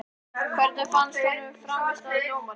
Hvernig fannst honum frammistaða dómarans?